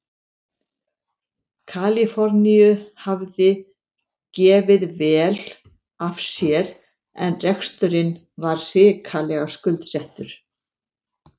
Kaliforníu hafði gefið vel af sér en reksturinn var hrikalega skuldsettur.